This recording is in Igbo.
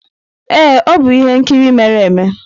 Ee, ọ bụ ihe nkiri mere eme.